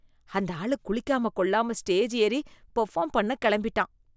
அந்த ஆளு குளிக்காம கொள்ளாம ஸ்டேஜ் ஏறி பெர்ஃபார்ம் பண்ண கிளம்பிட்டான்.